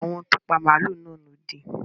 Àwọn tó pa màlúù náà lọ́ din.